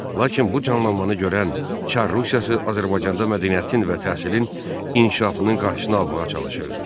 Lakin bu canlanmanı görən Çar Rusiyası Azərbaycanda mədəniyyətin və təhsilin inkişafının qarşısını almağa çalışırdı.